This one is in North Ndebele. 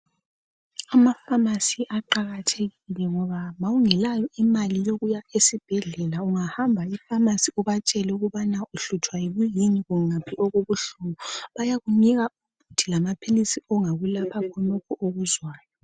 Amafamasi aqakathekile ngoba ma ungelayo imali yokuya esibhedlela ungahamba eFamasi ubatshele ukubana uhlutshwa kuyini kungaphi okubuhlungu bayakunika umuthi lamaphilisi ongakulapha khonokho okuzwayo.